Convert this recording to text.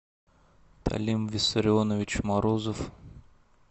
талим виссарионович морозов